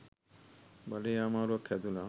බඬේ අමාරුවක් හැදුනා.